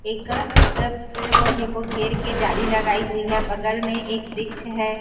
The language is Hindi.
एक अ पेड़ पौधे को घेर के जाली लगाई हुई है बगल में एक वृक्ष है।